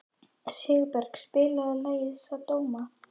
Sigurberg, spilaðu lagið „Sódóma“.